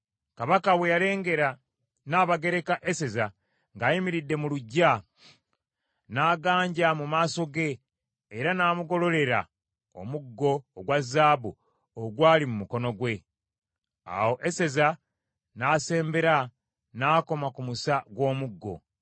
Kabaka bwe yalengera Nnabagereka Eseza ng’ayimiridde mu luggya, n’aganja mu maaso ge era n’amugololera omuggo ogwa zaabu ogwali mu mukono gwe. Awo Eseza n’asembera n’akoma ku musa gw’omuggo.